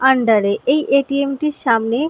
আন্ডারে এই এ.টি.এম. -টির সামনে--